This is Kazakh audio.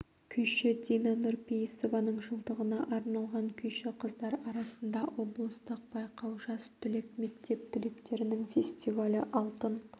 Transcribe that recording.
күйші дина нұрпейісованың жылдығына арналған күйші қыздар арасында облыстық байқау жас түлек мектеп түлектерінің фестивалі алтын